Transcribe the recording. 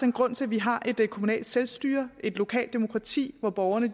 en grund til at vi har et kommunalt selvstyre et lokalt demokrati hvor borgerne